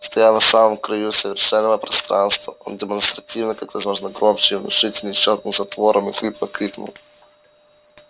стоя на самом краю освещённого пространства он демонстративно как можно громче и внушительней щёлкнул затвором и хрипло крикнул